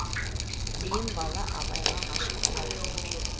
мен бала абайға ғашық болатынмын